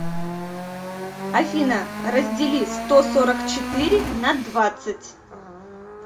афина раздели сто сорок четыре на двадцать